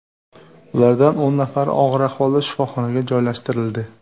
Ulardan o‘n nafari og‘ir ahvolda shifoxonaga joylashtirildi.